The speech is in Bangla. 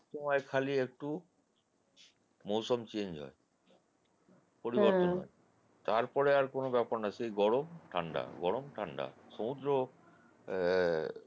সময়ে খালি একটু মৌসম change হয়, পরিবর্তন হয় তারপর আর কোনও ব্যাপার না সেই গরম ঠাণ্ডা গরম ঠাণ্ডা সমুদ্র